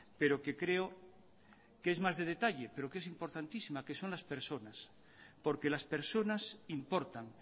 pero que creo que es más de detalle pero que es importantísima que son las personas porque las personas importan